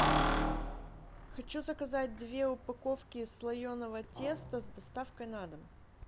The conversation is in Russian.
хочу заказать две упаковки слоеного теста с доставкой на дом